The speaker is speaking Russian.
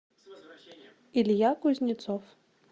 илья кузнецов